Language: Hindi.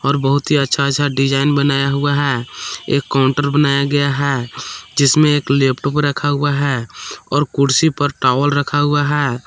और बहुत ही अच्छा अच्छा डिजाइन बनाया हुआ है एक काउंटर बनाया गया है जिसमें एक लैपटॉप रखा हुआ है और कुर्सी पर टॉवेल रखा हुआ है।